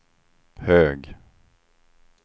hög